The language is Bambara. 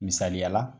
Misaliya la